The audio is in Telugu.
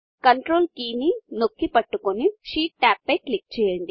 కంట్రోల్ కీ నొక్కి పట్టుకొని షీట్ టాబ్ పై క్లిక్ చేయండి